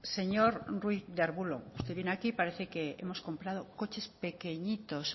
señor ruiz de arbulo usted viene aquí y parece que hemos comprado coches pequeñitos